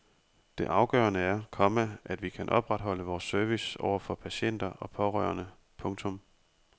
Det afgørende er, komma at vi kan opretholde vores service over for patienter og pårørende. punktum